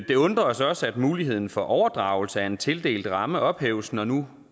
det undrer os også at muligheden for overdragelse af en tildelt ramme ophæves når nu